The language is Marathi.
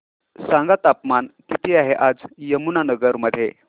सांगा तापमान किती आहे आज यमुनानगर मध्ये